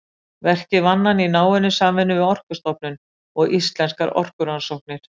Verkið vann hann í náinni samvinnu við Orkustofnun og Íslenskar orkurannsóknir.